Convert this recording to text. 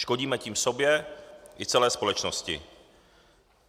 Škodíme tím sobě i celé společnosti.